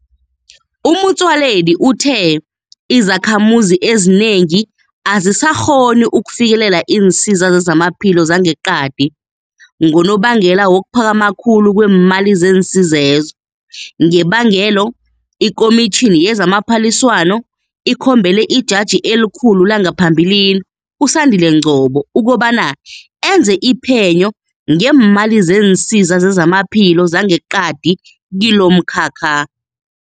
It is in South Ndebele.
Motsoaledi uthe izakhamuzi ezinengi azisakghoni ukufikelela iinsiza zezamaphilo zangeqadi ngonobangela wokuphakama khulu kweemali zeensiza lezo, ngebangelo iKomitjhini yezamaPhaliswano ikhombele iJaji eliKhulu langaphambilini uSandile Ngcobo ukobana enze iphenyo ngeemali zeensiza zezamaphilo zangeqadi kilomkhakha.